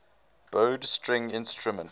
bowed string instrument